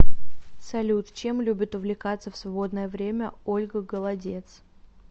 салют чем любит увлекаться в свободное время ольга голодец